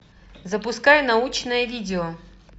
запускай научное видео